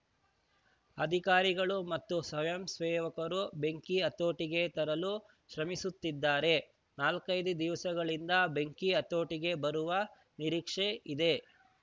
ಅಧಿಕಾರಿಗಳು ಮತ್ತು ಸ್ವಯಂ ಸೇವಕರು ಬೆಂಕಿ ಹತೋಟಿಗೆ ತರಲು ಶ್ರಮಿಸುತ್ತಿದ್ದಾರೆ ನಾಲ್ಕೈದು ದಿವಸಗಳಿಂದ ಬೆಂಕಿ ಹತೋಟಿಗೆ ಬರುವ ನಿರೀಕ್ಷೆ ಇದೆ